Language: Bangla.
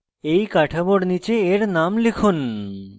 এই কাঠামোর নীচে এর name লিখুন